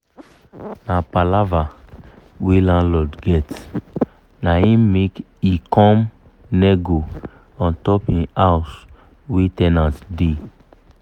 na palava wey landlord get naim make he come nego untop him house wey ten ant da